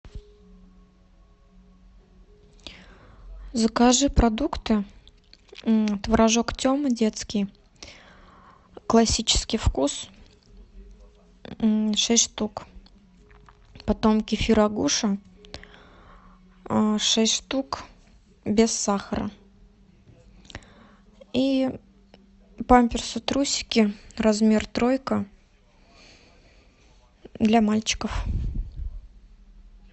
закажи продукты творожок тема детский классический вкус шесть штук потом кефир агуша шесть штук без сахара и памперсы трусики размер тройка для мальчиков